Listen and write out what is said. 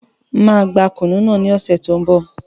Máa gbà kùnú náà ní ọ̀sẹ̀ ti n bọ̀